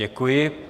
Děkuji.